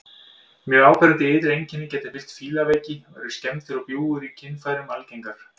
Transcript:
Mjög áberandi ytri einkenni geta fylgt fílaveiki og eru skemmdir og bjúgur í kynfærum algengar.